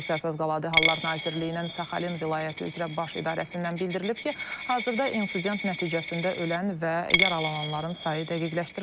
Rusiya Fövqəladə Hallar Nazirliyinin Saxalin vilayəti üzrə Baş İdarəsindən bildirilib ki, hazırda insident nəticəsində ölən və yaralananların sayı dəqiqləşdirilir.